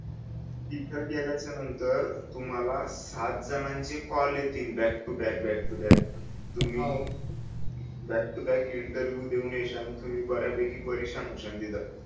तिथ गेल्याच्या नंतर तुम्हाला सात जनांचे कॉल येतील back to back back to back हो तुम्ही बॅक टू बॅक इंटरव्हिव्ह देऊन येशाल तुम्ही ब-यापैकी परेशान होशाल तिथ